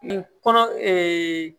kɔnɔ